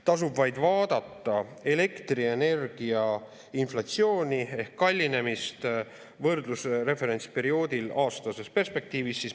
Tasub vaid vaadata elektrienergia inflatsiooni ehk kallinemist, võrdlus referentsperioodil aastases perspektiivis.